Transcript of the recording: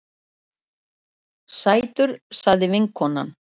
Sætur, sagði vinkonan.